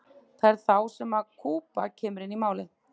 það er þá sem kúba kemur inn í málið